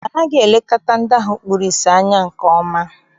Anaghị elekọta ndị ahụ kpuru ìsì anya nke ọma.